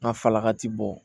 N ka falaka ti bɔ